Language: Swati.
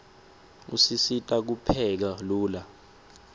usisita kupheka lula